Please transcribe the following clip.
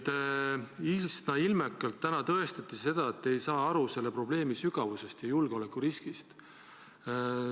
Täna tõestati üsna ilmekalt, et te ei saa aru selle probleemi sügavusest ja julgeolekuriskist.